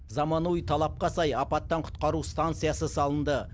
заманауи талапқа сай апаттан құтқару станциясы салынды